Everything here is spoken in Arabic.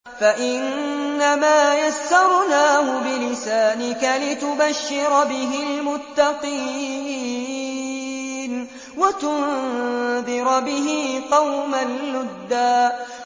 فَإِنَّمَا يَسَّرْنَاهُ بِلِسَانِكَ لِتُبَشِّرَ بِهِ الْمُتَّقِينَ وَتُنذِرَ بِهِ قَوْمًا لُّدًّا